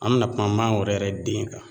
An bɛna kuma mangoro yɛrɛ den kan